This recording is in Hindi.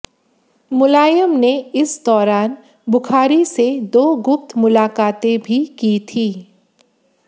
मुलायम ने इस दौरान बुखारी से दो गुप्त मुलाकातें भी कीं थी